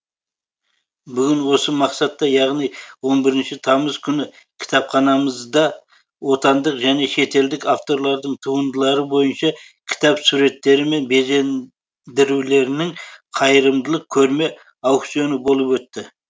бүгін осы мақсатта яғни он бірінші тамыз күні кітапханмызда отандық және шетелдік авторлардың туындылары бойынша кітап суреттері мен безен дірулерінің қайырымдылық көрме аукционы болып өтті